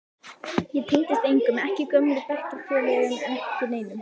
Ég tengdist engum, ekki gömlu bekkjarfélögunum, ekki neinum.